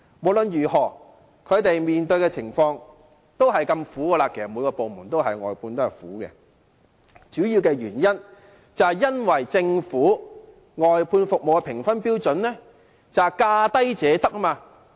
不論是哪個部門的外判員工，他們面對的情況同樣困苦，主要原因是政府外判服務的評分標準是"價低者得"。